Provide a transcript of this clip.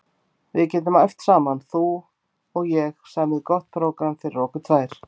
Við getum æft saman þú og ég, samið gott prógramm fyrir okkur tvær.